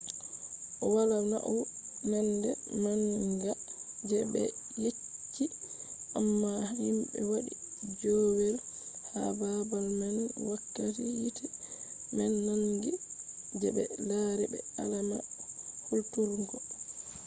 wala naunande manga je be yecci amma himɓe waɗi joowey ha babal man wakkati hite man nangi je be lari be alama hulturgo